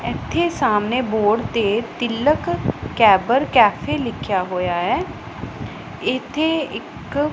ਇੱਥੇ ਸਾਹਮਣੇ ਬੋਰਡ ਤੇ ਤਿਲਕ ਕੈਬਰ ਕੈਫੇ ਲਿਖਿਆ ਹੋਇਆ ਹੈ ਇੱਥੇ ਇੱਕ --